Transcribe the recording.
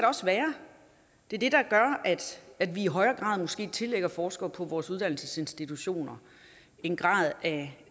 også være det er det der gør at vi i højere grad måske tillægger forskere på vores uddannelsesinstitutioner en grad af